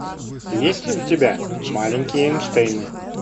есть ли у тебя маленькие эйнштейны